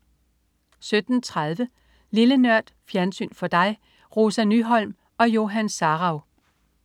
17.30 Lille Nørd. Fjernsyn for dig. Rosa Nyholm og Johan Sarauw